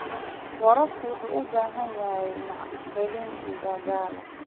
Waraabka wuxuu u baahan yahay maalgelin dhaqaale.